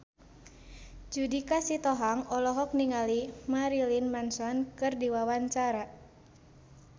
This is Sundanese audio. Judika Sitohang olohok ningali Marilyn Manson keur diwawancara